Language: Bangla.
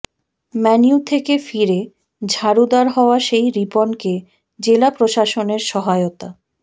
ম্যানইউ থেকে ফিরে ঝাড়ুদার হওয়া সেই রিপনকে জেলা প্রশাসনের সহায়তা